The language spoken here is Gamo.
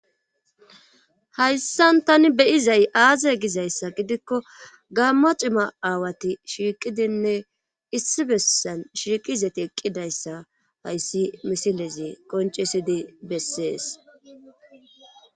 Hayssan tani beyizay aaze gizayssa gidikko gammo cima aawati shiiqidinne issi bessan shiiqizati eqqidayssa hayssi misilezi qoncesidi bessees.